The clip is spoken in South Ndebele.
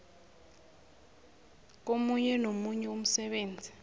komunye nomunye umsebenzi